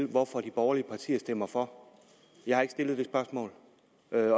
hvorfor de borgerlige partier stemmer for jeg har ikke stillet det spørgsmål